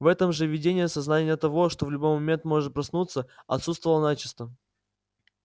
в этом же видении сознание того что в любой момент можно проснуться отсутствовало начисто